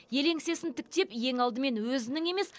ел еңсесін тіктеп ең алдымен өзінің емес